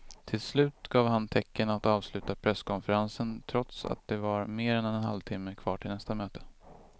Till slut gav han tecken att avsluta presskonferensen trots att det var mer än en halvtimme kvar till nästa möte.